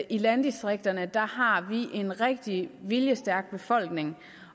i landdistrikterne har en rigtig viljestærk befolkning